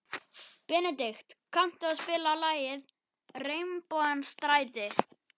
Benedikt, kanntu að spila lagið „Regnbogans stræti“?